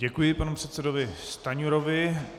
Děkuji panu předsedovi Stanjurovi.